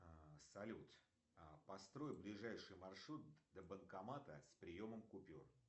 салют построй ближайший маршрут до банкомата с приемом купюр